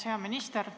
Hea minister!